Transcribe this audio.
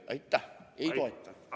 Aitäh!